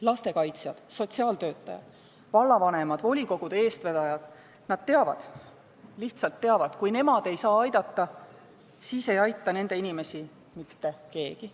Lastekaitsjad, sotsiaaltöötajad, vallavanemad ja volikogude eestvedajad lihtsalt teavad, et kui nemad ei saa aidata, siis ei aita nende inimesi mitte keegi.